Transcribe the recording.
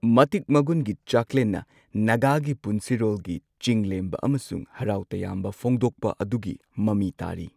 ꯃꯇꯤꯛ ꯃꯒꯨꯟꯒꯤ ꯆꯥꯛꯂꯦꯟꯅ ꯅꯥꯒꯥꯒꯤ ꯄꯨꯟꯁꯤꯔꯣꯜꯒꯤ ꯆꯤꯡ ꯂꯦꯝꯕ ꯑꯃꯁꯨꯡ ꯍꯔꯥꯎꯇꯌꯥꯝꯕ ꯐꯣꯡꯗꯣꯛꯄ ꯑꯗꯨꯒꯤ ꯃꯃꯤ ꯇꯥꯔꯤ꯫